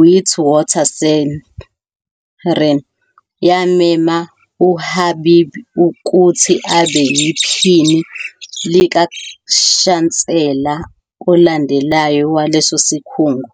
Witwatersrand yamema uHabib ukuthi abe yiphini likaShansela olandelayo waleso sikhungo.